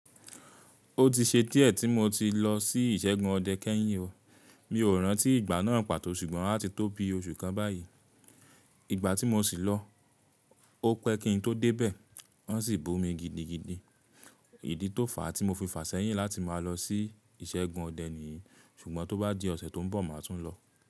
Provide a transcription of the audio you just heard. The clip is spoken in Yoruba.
Ó ti ṣe díẹ̀ tí mo ti lọ sí ìṣẹ́gun ọdẹ kẹ́yìn o, mi ò rántí ìgbà náà pàtó ṣùgbọ́n a ti tóbi oṣù kan báyìí. Ìgbà tí mo sì lọ, ó pẹ́ kí n tó dé bẹ́ẹ̀, wọ́n sì bù mi gidigidi. Ìdí tó fà tí mo fi fà ṣẹ́yìn láti máa lọ sí ìṣẹ́gun ọdẹ nìyí, ṣùgbọ́n tó bá di ọ̀sẹ̀ tí ń bọ̀, màá tún lọ.